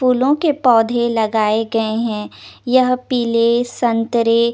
फूलों के पौधे लगाए गए हैं यह पीले संतरे--